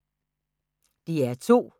DR2